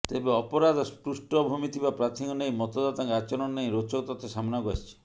ତେବେ ଅପରାଧ ପୃଷ୍ଠ ଭୂମିଥିବା ପ୍ରାର୍ଥୀଙ୍କୁ ନେଇ ମତଦାତାଙ୍କ ଆଚରଣ ନେଇ ରୋଚକ ତଥ୍ୟ ସାମ୍ନାକୁ ଆସିଛି